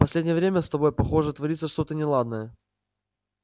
последнее время с тобой похоже творится что-то неладное